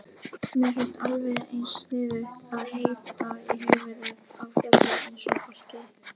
Mér finnst alveg eins sniðugt að heita í höfuðið á fjalli eins og fólki.